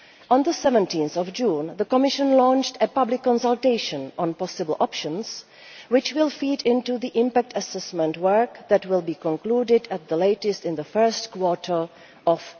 On 17 June, the Commission launched a public consultation on possible options, which will feed into the impact assessment work that will be concluded at the latest in the first quarter of